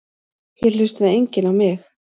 Hér hlustaði enginn á mig.